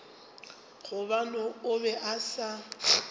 gobane o be a sa